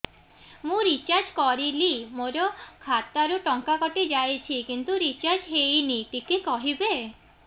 ମୁ ରିଚାର୍ଜ କରିଲି ମୋର ଖାତା ରୁ ଟଙ୍କା କଟି ଯାଇଛି କିନ୍ତୁ ରିଚାର୍ଜ ହେଇନି ଟିକେ କହିବେ